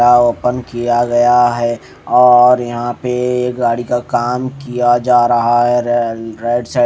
और ओपन किया गया है और यहा पे गाड़ी का काम किया जा रहा है रे रेड से--